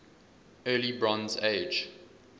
early bronze age